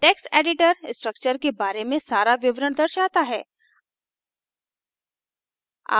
text editor structure के बारे में सारा विवरण दर्शाता है